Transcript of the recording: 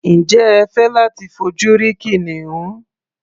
Ǹjẹ́ ẹ fẹ́ láti fojú rí kìnìún?